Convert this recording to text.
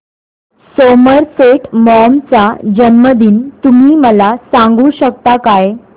Somerset Maugham चा जन्मदिन तुम्ही मला सांगू शकता काय